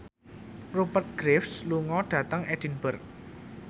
Rupert Graves lunga dhateng Edinburgh